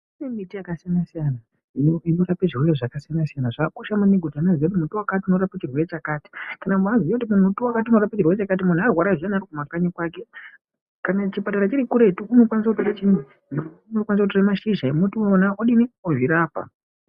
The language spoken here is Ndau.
Kune miti yakasiyana siyana inorape zvirwere zvakasiyana siyana zvakakosha maningi ķuti muti wakati unorape chirwere chakati kana kubaziye kuti muti wakati unorape chirwere chakati kana muntu arwara zviyani ari kumakanyi kwake kana chipatara chiri kuretu unokwanisa kutora mashizha emuti iwona ozvirapa.